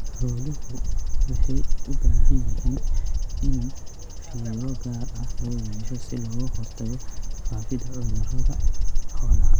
Xooluhu waxa ay u baahan yihiin in fiiro gaar ah loo yeesho si looga hortago faafidda cudurrada xoolaha.